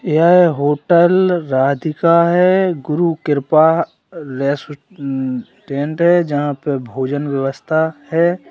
यह होटल राधिका है गुरु कृपा टैंट है यहां पे भोजन व्यवस्था है।